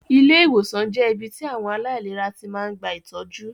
Ilé ìwòsàn jẹ́ ibí tí àwọn aláìlera tí máa ń gba ìtọ́jú